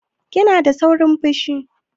Kina da saurin fushi?